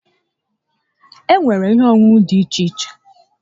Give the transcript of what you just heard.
Enwere ihe onunu di iche iche